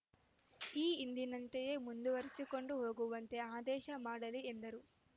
ಈ ಹಿಂದಿನಂತೆಯೇ ಮುಂದುವರೆಸಿಕೊಂಡು ಹೋಗುವಂತೆ ಆದೇಶ ಮಾಡಲಿ ಎಂದರು